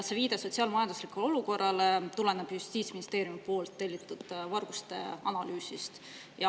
See viide sotsiaal‑majanduslikule olukorrale tulenes justiitsministeeriumi tellitud varguste analüüsist.